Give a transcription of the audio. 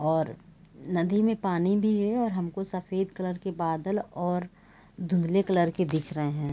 और नदी में पानी भी है और हमको सफेद कलर के बादल और धुंधले कलर के दिख रहे है।